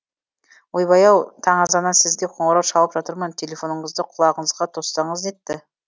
ойбай ау таң азаннан сізге қоңырау шалып жатырмын телефоныңызды құлағыңызға тоссаңыз нетті